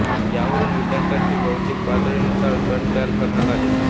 यावरून विद्यार्थ्याच्या बौद्धिक पातळीनुसार गट तयार करण्यात आले